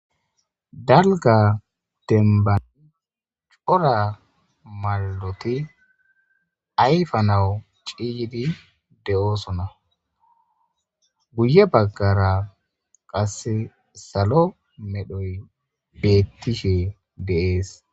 Dalga denbani cora maloti ayfa nawu ciyidi de'oosona guye baggara qasse salo medhoy beettishe deees.